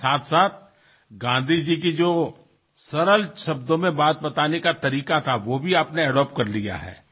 লগতে গান্ধীজীয়ে যিদৰে সৰল ভাষাত কৈছিল সেই অভ্যাসো আপুনি অনুসৰণ কৰিছে